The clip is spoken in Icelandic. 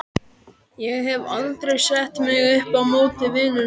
Ég hef aldrei sett mig upp á móti vinnunni þinni.